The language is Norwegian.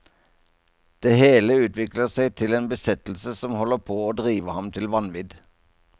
Det hele utvikler seg til en besettelse som holder på å drive ham til vanvidd.